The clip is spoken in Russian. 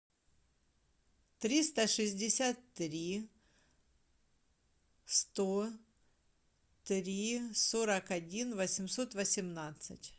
триста шестьдесят три сто три сорок один восемьсот восемнадцать